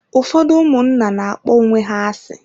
Ụfọdụ ụmụnna na-akpọ onwe ha asị.